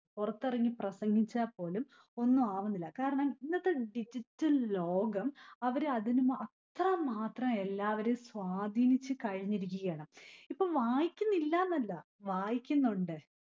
പുറത്തിറങ്ങി പ്രസംഗിച്ചാൽ പോലും ഒന്നുമാവുന്നില്ല. കാരണം ഇന്നത്തെ digital ലോകം അവര് അതിനു അത്ര മാത്രം എല്ലാവരും സ്വാധീനിച്ചു കഴിഞ്ഞിരിക്കുകയാണ്. ഇപ്പൊ വായിക്കുന്നില്ല എന്നല്ല. വായിക്കുന്നൊണ്ട്‌.